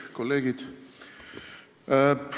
Kolleegid!